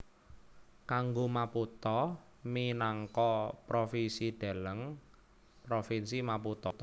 Kanggo Maputo minangka provinsi deleng Provinsi Maputo